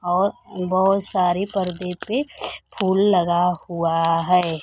और बहोत सारी पर्दे पे फूल लगा हुआ है।